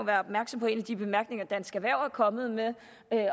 opmærksom på en af de bemærkninger dansk erhverv er kommet med